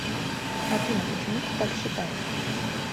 афина почему ты так считаешь